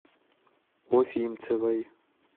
уфимцевой